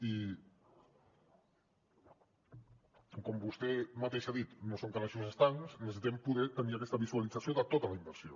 i com vostè mateix ha dit no són calaixos estancs i necessitem poder tenir aquesta visualització de tota la inversió